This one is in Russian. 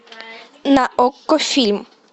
на окко фильм